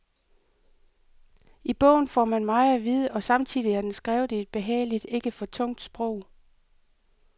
I bogen får man meget at vide, og samtidig er den skrevet i et behageligt, ikke for tungt sprog.